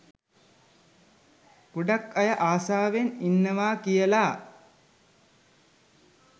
ගොඩක් අය ආසාවෙන් ඉන්නවා කියලා